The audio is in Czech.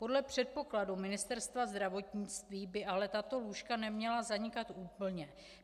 Podle předpokladu Ministerstva zdravotnictví by ale tato lůžka neměla zanikat úplně.